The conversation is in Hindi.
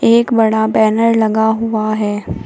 एक बड़ा बैनर लगा हुआ है।